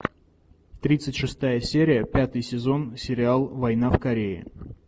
тридцать шестая серия пятый сезон сериал война в корее